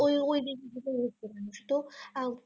ওই ওই দিক গুলো . তো